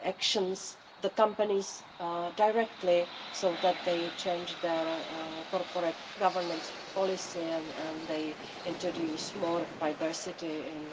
actions the companies directly so that they change their corporate governance policy and introduce more diversity in